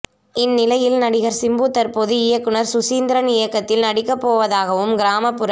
இந்நிலையில் நடிகர் சிம்பு தற்போது இயக்குனர் சுசீந்திரன் இயக்கத்தில் நடிக்க போவதாகவும் கிராமப்புற